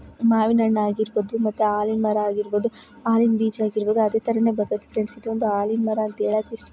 ಮಾವಿನ ಹಣ್ಣು ಆಗಿರಬಹುದು ಮತ್ತೆ ಅಲಿನ್ ಮರ ಆಗಿರಬಹುದು ಅಲಿನ್ ಬಿಜಾ ಆಗಿರ್ಬೋದು ಅದೇ ತರಾನೇ ಬತ್ತದೆ ಫ್ರೆಂಡ್ಸ್ ಇದು. ಇದೊಂದು ಅಲಿನ್ ಮರ ಅಂತ ಹೇಳೋಕ್ಕೆ ಇಷ್ಟ--